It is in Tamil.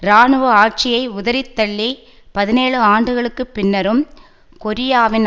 இராணுவ ஆட்சியை உதறித்தள்ளி பதினேழு ஆண்டுகளுக்கு பின்னரும் கொரியாவின்